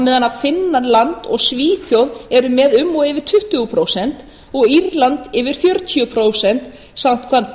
meðan finnland og svíþjóð eru með um og yfir tuttugu prósent og írland yfir fjörutíu prósent samkvæmt